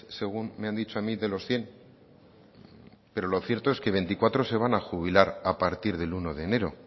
según me han dicho a mí de los cien pero lo cierto es que veinticuatro se van a jubilar a partir del uno de enero